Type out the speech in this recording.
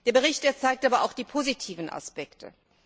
Der Bericht zeigt aber auch die positiven Aspekte.